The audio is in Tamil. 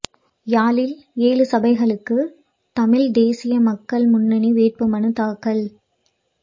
யாழில் ஏழு சபைகளுக்கு தமிழ்த் தேசிய மக்கள் முன்னணி வேட்புமனுத் தாக்கல்